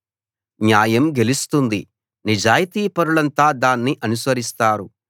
న్యాయం గెలుస్తుంది నిజాయితీపరులంతా దాన్ని అనుసరిస్తారు